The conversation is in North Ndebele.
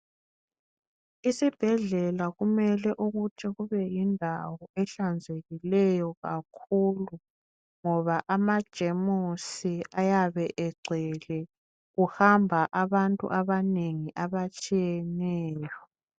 Isibhedlela kumele ukuthi kubeyindawo ehlanzekileyo kakhulu ngoba amajemuzi ayabe egcwele kuhamba abantu abanengi abatshiyeneyo.